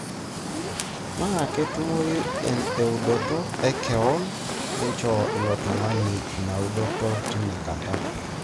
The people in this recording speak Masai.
tena ketumoyu eudoto e kewo, nchoo ilo tungani ina udoto tinakata.